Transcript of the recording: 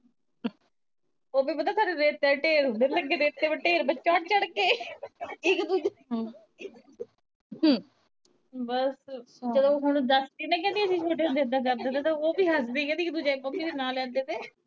ਉਦੇ ਪਤਾ ਘਰੇ ਰੇਤੇ ਦੇ ਢੇਰ ਹੁੰਦੇ ਲੱਗੇ ਰੇਤੇ ਦੇ ਢੇਰ ਪਰ ਚੜ ਚੜ ਕੇ ਇਕ ਦੂਜੇ ਤੇ ਬਸ ਜਦੋਂ ਹੁਣ ਦਸਦੀ ਏ ਨਾ ਵੀ ਅਸੀਂ ਛੋਟੇ ਹੁੰਦੇ ਏਦਾਂ ਏਦਾਂ ਕਰਦੇ ਸੀ ਓ ਵੀ ਹੱਸਦੀ ਏ ਵੀ ਇਕ ਦੂਜੇ ਦੀ ਮੰਮੀ ਦੇ ਨਾਂ ਲੈਂਦੇ ਤੇ